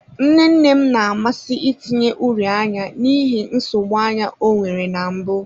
Nne nne m na-amasị itinye uri anya n'ihi nsogbu anya ọ nwere na mbụ.